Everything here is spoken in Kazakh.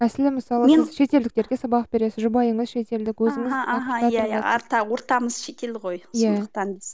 мәселен мысалы шетелдіктерге сабақ бересіз жұбайыңыз шетелдік ортамыз шетел ғой сондықтан